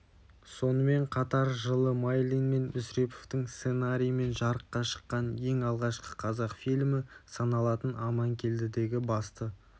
сонымен қатар жылы майлин мен мүсіреповтің сценарийімен жарыққа шыққан ең алғашқы қазақ фильмі саналатын аманкелдідегі басты